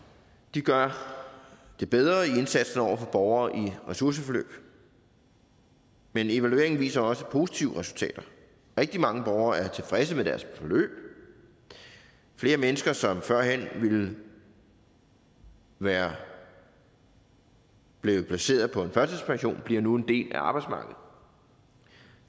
gør det bedre i indsatsen over for borgere i ressourceforløb men evalueringen viser også positive resultater rigtig mange borgere er tilfredse med deres forløb og flere mennesker som førhen ville være blevet placeret på en førtidspension bliver nu en del af arbejdsmarkedet